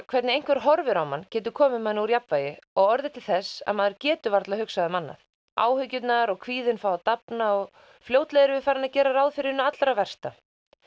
hvernig einhver horfir á mann getur komið manni úr jafnvægi og orðið til þess að maður getur varla hugsað um annað áhyggjurnar og kvíðinn fá að dafna og fljótlega erum við farin að gera ráð fyrir hinu allra versta